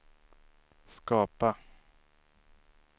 skapa